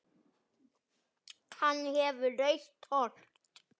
Hann hefur rautt hold.